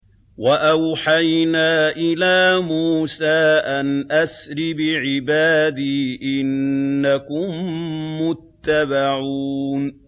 ۞ وَأَوْحَيْنَا إِلَىٰ مُوسَىٰ أَنْ أَسْرِ بِعِبَادِي إِنَّكُم مُّتَّبَعُونَ